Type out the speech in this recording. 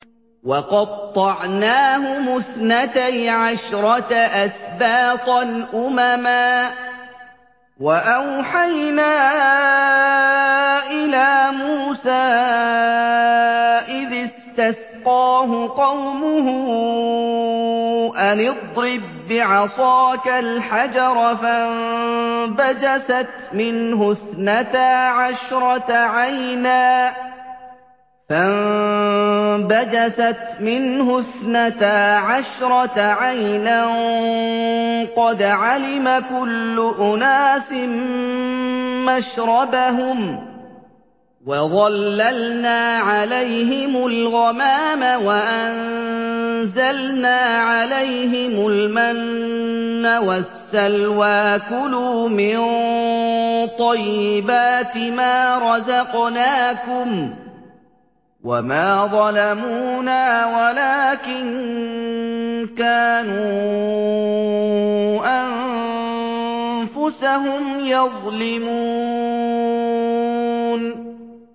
وَقَطَّعْنَاهُمُ اثْنَتَيْ عَشْرَةَ أَسْبَاطًا أُمَمًا ۚ وَأَوْحَيْنَا إِلَىٰ مُوسَىٰ إِذِ اسْتَسْقَاهُ قَوْمُهُ أَنِ اضْرِب بِّعَصَاكَ الْحَجَرَ ۖ فَانبَجَسَتْ مِنْهُ اثْنَتَا عَشْرَةَ عَيْنًا ۖ قَدْ عَلِمَ كُلُّ أُنَاسٍ مَّشْرَبَهُمْ ۚ وَظَلَّلْنَا عَلَيْهِمُ الْغَمَامَ وَأَنزَلْنَا عَلَيْهِمُ الْمَنَّ وَالسَّلْوَىٰ ۖ كُلُوا مِن طَيِّبَاتِ مَا رَزَقْنَاكُمْ ۚ وَمَا ظَلَمُونَا وَلَٰكِن كَانُوا أَنفُسَهُمْ يَظْلِمُونَ